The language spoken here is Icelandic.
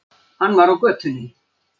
Hann var á götunni.